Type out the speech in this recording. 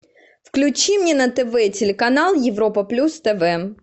включи мне на тв телеканал европа плюс тв